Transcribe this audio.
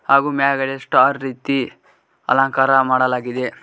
ಹಾಗೂ ಮ್ಯಾಗಡೆ ಸ್ಟಾರ್ ರೀತಿ ಅಲಂಕಾರ ಮಾಡಲಾಗಿದೆ.